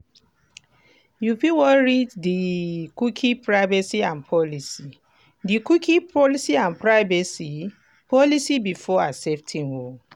you fit wan read di cookie privacy and policy di cookie policy and privacy policy before accepting o